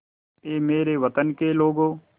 ऐ मेरे वतन के लोगों